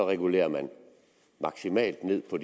regulerer man maksimalt ned på